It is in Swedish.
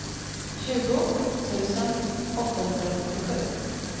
tjugo tusen åttahundrasjuttiosju